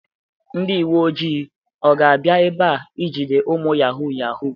Ndi uwe ojii ga-abia ebea ijide umu yahoo yahoo?